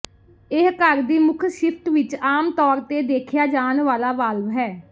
ਇਹ ਘਰ ਦੀ ਮੁੱਖ ਸ਼ਿਫਟ ਵਿਚ ਆਮ ਤੌਰ ਤੇ ਦੇਖਿਆ ਜਾਣ ਵਾਲਾ ਵਾਲਵ ਹੈ